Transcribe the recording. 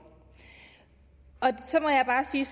så må jeg bare sige